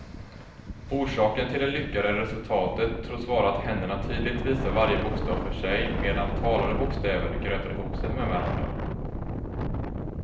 Orsaken till det lyckade resultatet tros vara att händerna tydligt visar varje bokstav för sig medan talade bokstäver grötar ihop sig med varandra.